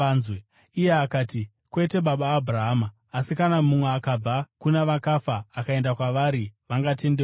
“Iye akati, ‘Kwete, baba Abhurahama, asi kana mumwe akabva kuna vakafa akaenda kwavari, vangatendeuka.’